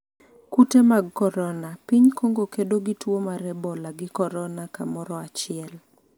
kute mag korona: piny Kongo kedo gi tuo mar ebola gi korona kamoro achiel